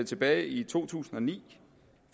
tilbage i to tusind og ni